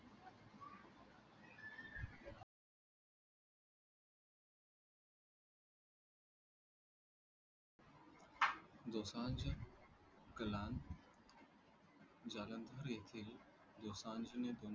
दोसांज कलांत जालंधर येते दोसांज ने